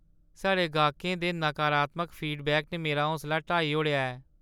साढ़े गाह्कें दे नकारात्मक फीडबैक ने मेरा हौसला ढाई ओड़ेआ ऐ।